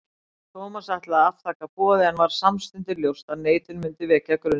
Thomas ætlaði að afþakka boðið en varð samstundis ljóst að neitun myndi vekja grunsemdir.